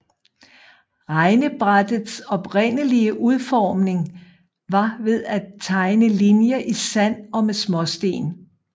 Regnebrættets oprindelige udformning var ved at tegne linjer i sand og med småsten